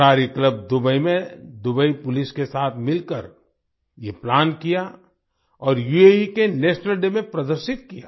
कलारी club Dubai ने Dubai police के साथ मिलकर ये प्लान किया और यूएई के नेशनल डे में प्रदर्शित किया